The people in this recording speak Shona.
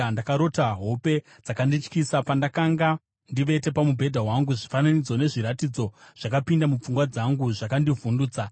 Ndakarota hope dzakandityisa. Pandakanga ndivete pamubhedha wangu, zvifananidzo nezviratidzo zvakapinda mupfungwa dzangu zvakandivhundutsa.